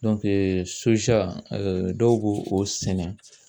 dɔw bo o sɛnɛ